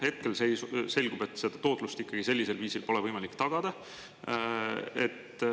Hetkel selgub, et seda tootlust ikkagi sellisel viisil pole võimalik tagada.